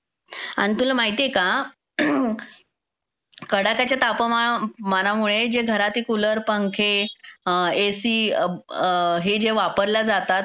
अन तुला माहितीये का? कडाक्याच्या तापमाना मानामुळे जे घरातले कुलर, एसी, पंखे हे जे वापरले जातात